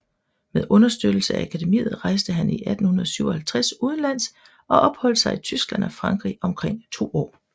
Med understøttelse af Akademiet rejste han i 1857 udenlands og opholdt sig i Tyskland og Frankrig omkring to år